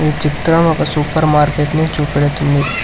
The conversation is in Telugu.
చిత్రం ఒక సూపర్ మార్కెట్ని చూపెడుతుంది.